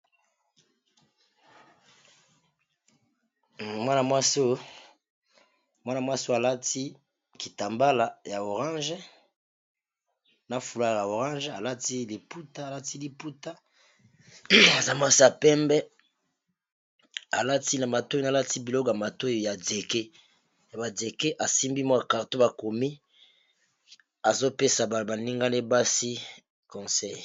Mwana mwasi, alati kitambala ya langi ya lilala pe amifiniki kitambala mususu n'a Langi ya lilala ,alati liputa pe aza mwasi ya pembe asimbi , carton makomami ezali ya kopesa toli.